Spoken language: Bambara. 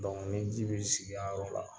ni ji bɛ sigi a yɔrɔ la,